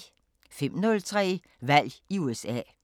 05:03: Valg i USA